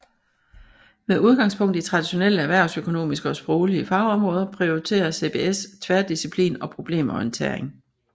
Med udgangspunkt i traditionelle erhvervsøkonomiske og sproglige fagområder prioriterer CBS tværdisciplin og problemorientering